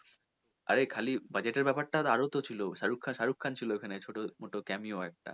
আরে খালি budget এর ব্যাপার টা আরও তো ছিল শারুখ খান ছিল ওখানে ছোটো মতো camio একটা